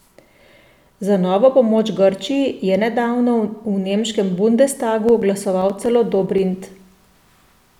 Za novo pomoč Grčiji je nedavno v nemškem bundestagu glasoval celo Dobrindt.